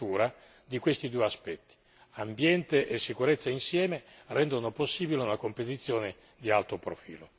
la riconferma e la sottolineatura di questi due aspetti ambiente e sicurezza insieme rendono possibile una competizione di alto profilo.